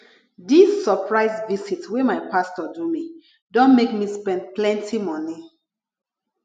dis surprise visit wey my pastor do me don make me spend plenty moni